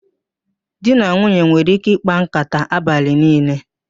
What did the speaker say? Di na nwunye nwere ike ịkpa nkàtá abalị niile